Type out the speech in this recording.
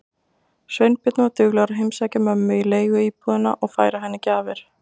Sveinbjörn var duglegur að heimsækja okkur mömmu í leiguíbúðina og færa henni gjafir.